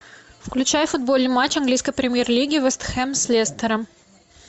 включай футбольный матч английской премьер лиги вест хэм с лестером